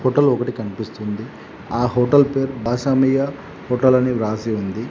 Hotel లోపటికి కనిపిస్తుంది ఆ హోటల్ పేరు భాషామీయ హోటల్ అని వ్రాసి ఉంది.